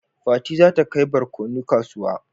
Fati za ta kai barkono kasuwa